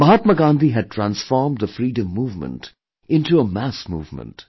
Mahatma Gandhi had transformed the freedom movement into a mass movement